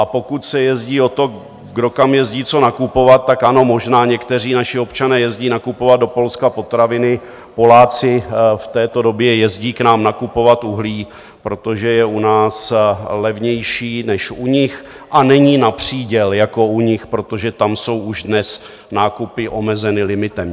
A pokud se jedná o to, kdo kam jezdí co nakupovat, tak ano, možná někteří naši občané jezdí nakupovat do Polska potraviny, Poláci v této době jezdí k nám nakupovat uhlí, protože je u nás levnější než u nich a není na příděl jako u nich, protože tam jsou už dnes nákupy omezeny limitem.